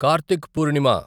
Karthik Purnima